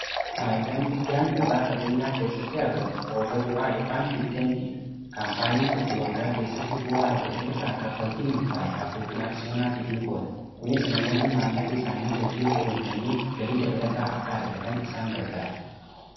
faayidaan guddaan gabaa qabeenyaa keessatti argamu qooda bu'aa ykn dividendiidha kaampaaniin tokko waggaa keessatti bu'aa argatee irraa kaffaltii murtaa'e abbootii aksiyoonaatiif ni qooda kunis namoonni maallaqa isaanii hojii irra olchanii galii dabalataa akka argatanif isaan gargaara